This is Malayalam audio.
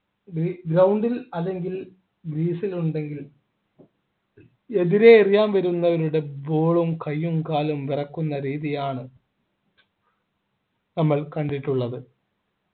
ground ൽ അല്ലെങ്കിൽ crease ൽ ഉണ്ടെങ്കിൽ എതിരെ എറിയാൻ വരുന്നവരുടെ ball ഉം കയ്യും കാലും വിറക്കുന്ന രീതിയാണ് നമ്മൾ കണ്ടിട്ടുള്ളത്